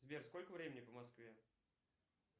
сбер сколько времени по москве